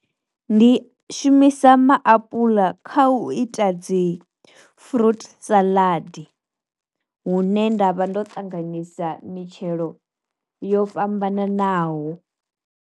Ndi shumisa maapuḽa kha u ita dzi fruit saḽadi, hune nda vha ndo tanganyisa mitshelo yo fhambananaho.